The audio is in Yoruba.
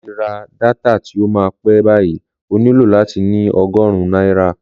Láti ra dátà tí ó máa pẹ́ báyìí, o nílò láti ní ogórùn náírà